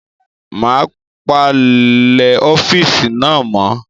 Màá palẹ̀ ọ́fíìsì náà mọ́.